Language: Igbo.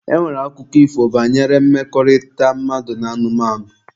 E nwere akụkọ ifo banyere mmekọrịta mmadụ na anụmanụ.